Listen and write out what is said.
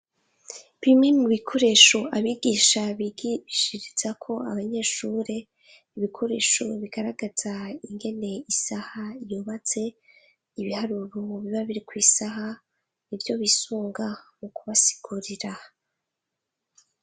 Bimwe mu bikoresho abigisha bigishirizako abanyeshure, ibikoresho bigaragaza ingene isaha yubatse. ibiharuro biba biri kw'isaha nivyo bisunga mu kubasigurira.